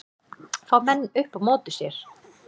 Fá menn upp á móti sér